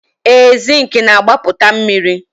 ee, zinc na-agbapụta mmiri